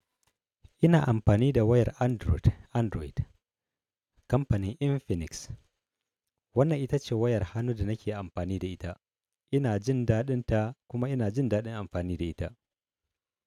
Ina amfani da wayar Android, Android kamfanin Infinix. Wannan ita ce wayar hannu da nake amfani da ita. Ina jin daɗin ta kuma ina jin daɗin amfani da ita.